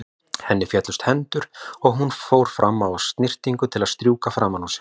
Henni féllust hendur og hún fór fram á snyrtingu til að strjúka framan úr sér.